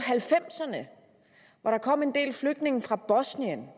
halvfemserne hvor der kom en del flygtninge fra bosnien